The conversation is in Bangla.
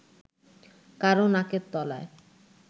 কারও নাকের তলায়